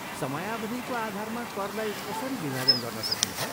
समयावधिको आधारमा करलाई कसरी विभाजन गर्न सकिन्छ?